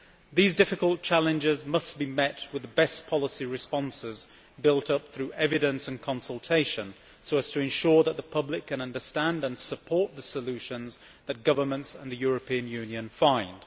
These difficult challenges must be met with the best policy responses built up through evidence and consultation so as to ensure that the public can understand and support the solutions which governments and the European Union find.